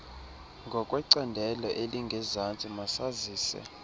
ngokwecandelo elingezantsi masazise